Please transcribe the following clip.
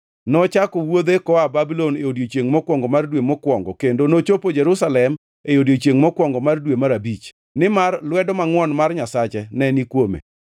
Nochako wuodhe koa Babulon e odiechiengʼ mokwongo mar dwe mokwongo, kendo nochopo Jerusalem e odiechiengʼ mokwongo mar dwe mar abich, nimar lwedo mangʼwon mar Nyasache ne ni kuome.